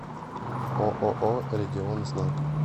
ооо регионзнак